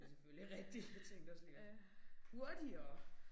Det selvfølgelig rigtigt. Jeg tænkte også lige op. Hurtigere